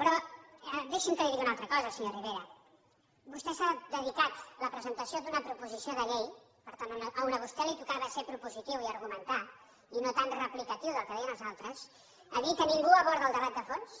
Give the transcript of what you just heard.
però deixi’m que li digui una altra cosa senyor rivera vostè ha dedicat la presentació d’una proposició de llei per tant on a vostè li tocava ser propositiu i argumentar i no tant replicatiu del que deien els altres per dir que ningú aborda el debat de fons